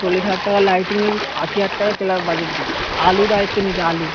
চল্লিশ হাজার টাকার lighting আশি হাজার টাকা club budget দিয়েছে আলু দায়িত্ব নিয়েছে আলু